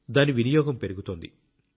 దాని వినియోగం పెరుగుతోంది